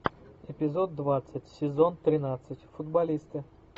эпизод двадцать сезон тринадцать футболисты